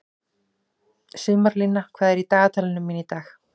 Sumarlína, hvað er í dagatalinu mínu í dag?